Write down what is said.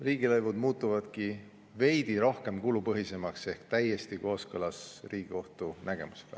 Riigilõivud muutuvadki veidi rohkem kulupõhisemaks ehk see on täiesti kooskõlas Riigikohtu nägemusega.